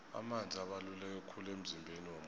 amanzi abaluleke khulu emzimbeni womuntu